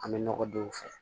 An bɛ nɔgɔ don u fɛ